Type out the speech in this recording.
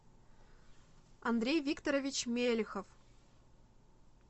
андрей викторович мелехов